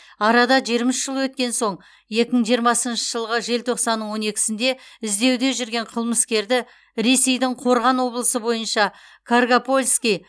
арада жиырма үш жыл өткен соң екі мың жиырмасыншы жылғы желтоқсанның он екісінде іздеуде жүрген қылмыскерді ресейдің қорған облысы бойынша каргопольский